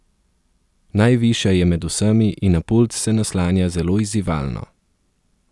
Najvišja je med vsemi in na pult se naslanja zelo izzivalno.